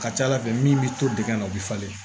Ka ca ala fɛ min bi to digɛn na o bi falen